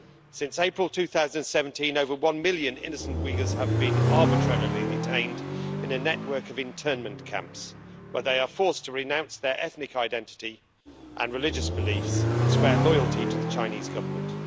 Since April 2017 over one million innocent Uyghurs have been arbitrarily detained in a network of internment camps, where they are forced to renounce their ethnic identity and religious beliefs and swear loyalty to the Chinese Government.